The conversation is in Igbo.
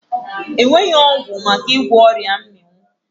E nweghị ọgwụ maka ịgwọ ọrịa mmịnwụ.